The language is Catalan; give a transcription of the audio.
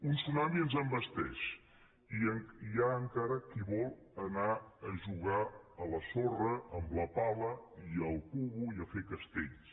un tsunami ens envesteix i hi ha encara qui vol anar a jugar a la sorra amb la pala i la galleda i a fer castells